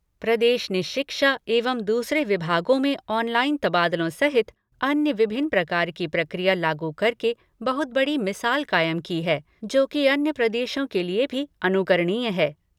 प्रदेश ने शिक्षा एवं दूसरे विभागों में ऑनलाईन तबादलों सहित अन्य विभिन्न प्रकार की प्रक्रिया लागू करके बहुत बड़ी मिसाल कायम की है जो कि अन्य प्रदेशों के लिए भी अनुकरणीय है।